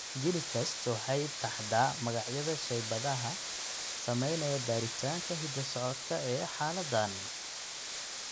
GeneTests waxay taxdaa magacyada shaybaadhada samaynaya baaritaanka hidda-socodka ee xaaladdan.